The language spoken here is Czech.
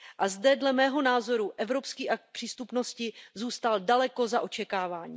A zde, dle mého názoru, Evropský akt přístupnosti zůstal daleko za očekáváním.